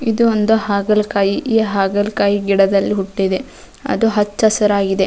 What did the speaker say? ಇದು ಒಂದು ಹಾಗಲಕಾಯಿ ಈ ಹಾಗಲಕಾಯಿ ಗಿಡದಲ್ಲಿ ಹುಟ್ಟಿದೆ ಅದು ಹಚ್ಚ ಹಸಿರಾಗಿದೆ.